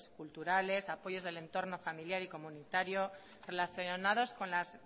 culturales apoyos del entorno familiar y comunitario relacionados con las